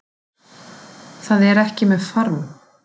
Það er ekki með farm